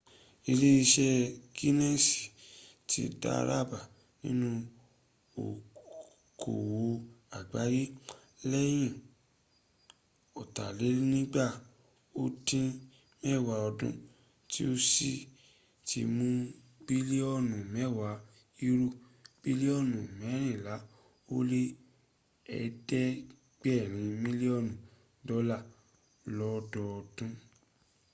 iléeṣẹ́ guinness ti dàràbà nínú okoòwò àgbáyé lẹ́yìn ọ̀tàlénígba ó dín mẹ́wàá ọdún tí ó sì ti mún bílíọ̀nù mẹ́wàá euro bílíọ̀nù mẹ́rìnlá ó lé ẹ̀dẹ́gbẹ̀rin mílíọ̀nù dọ́là lọ́dọdún